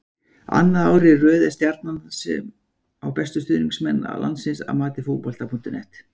Annað árið í röð er það Stjarnan sem á bestu stuðningsmenn landsins að mati Fótbolta.net.